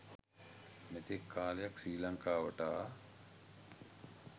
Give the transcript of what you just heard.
මෙතෙක් කාලයක් ශ්‍රී ලංකාවට ආ